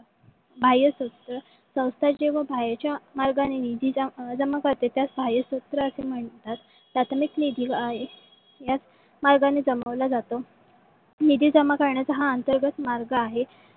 बाह्य सत्र संस्था जेव्हा बाहेरच्या मार्गाने निधी जमा करतात त्यास बाह्य सत्र असे म्हणतात. प्राथमिक निधी याच मार्गाने जमवल्या जाते. निधी जमा करण्याचा हा अंतर्गत मार्ग आहे.